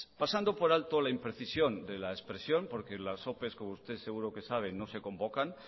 pasando por alto la imprecisión de la expresión porque las opes como usted seguro que sabe no se convoca